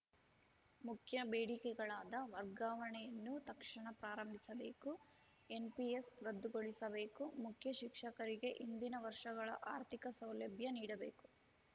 ಮುಖ್ಯ ಬೇಡಿಕೆಗಳಾದ ವರ್ಗಾವಣೆಯನ್ನು ತಕ್ಷಣ ಪ್ರಾರಂಭಿಸಬೇಕು ಎನ್‌ಪಿಎಸ್‌ ರದ್ದುಗೊಳಿಸಬೇಕು ಮುಖ್ಯಶಿಕ್ಷಕರಿಗೆ ಹಿಂದಿನ ವರ್ಷಗಳ ಆರ್ಥಿಕ ಸೌಲಭ್ಯ ನೀಡಬೇಕು